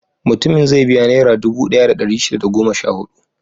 Mutumin zai biya Nera dubu ɗaya da ɗari shida da goma sha huɗu.